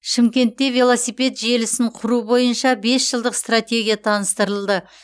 шымкентте велосипед желісін құру бойынша бес жылдық стратегия таныстырылды